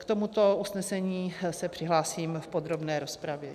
K tomuto usnesení se přihlásím v podrobné rozpravě.